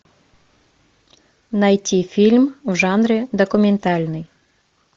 найти фильм в жанре документальный